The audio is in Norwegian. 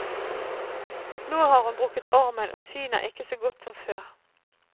Nå har hun brukket armen, og synet er ikke så godt som før.